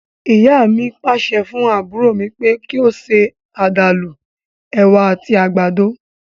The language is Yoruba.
Ìyá mi pàṣẹ fún àbúrò mi kí ó ṣe àdàlú, èwà àti àgbàdo